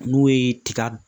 N'o ye tiga